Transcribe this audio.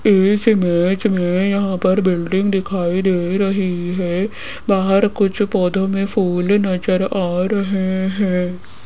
इस इमेज में यहां पर बिल्डिंग दिखाई दे रही है बाहर कुछ पौधों में कुछ फूल नजर आ रहे हैं।